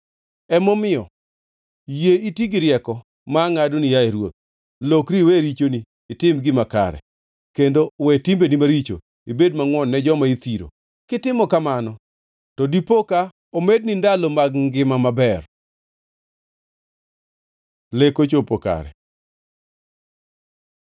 Emomiyo, yie iti gi rieko ma angʼadoni, yaye ruoth: Lokri iwe richoni itim gima kare, kendo we timbeni maricho ibed mangʼwon ne joma ithiro. Kitimo kamano, to dipo ka omedni ndalo mag ngima maber.” Lek ochopo kare